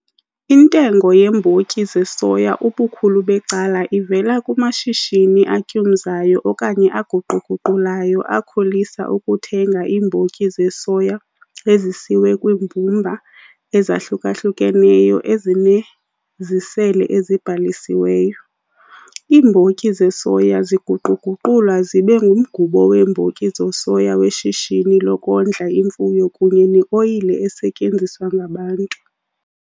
Intengo yeembotyi zesoya ubukhulu becala ivela kumashishini atyumzayo okanye aguqu-guqulayo akholisa ukuthenga iimbotyi zesoya ezisiwe kwiimbumba ezahluka-hlukeneyo ezinezisele ezibhalisiweyo. Iimbotyi zesoya ziguqu-guqulwa zibe ngumgubo weembotyi zesoya weshishini lokondla imfuyo kunye neoyile esetyenziswa ngabantu.